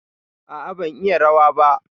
A'a ban iya rawa ba.